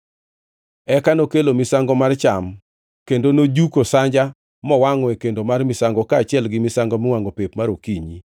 Eka nokelo misango mar cham kendo nojuko sanja mowangʼo e kendo mar misango kaachiel gi misango miwangʼo pep mar okinyi.